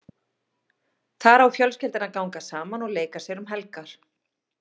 Þar á fjölskyldan að ganga saman og leika sér um helgar.